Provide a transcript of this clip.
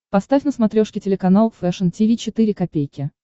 поставь на смотрешке телеканал фэшн ти ви четыре ка